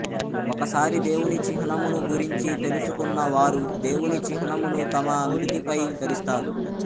ఒకసారి దేవుని చిహ్నమును గురించి తెలుసుకున్న వారు దేవుని చిహ్నమును తమ నుదుటిపై ధరిస్తారు